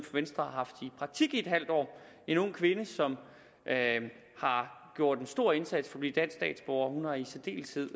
venstre har haft i praktik i en halv år en ung kvinde som har gjort en stor indsats for at blive dansk statsborger hun har i særdeles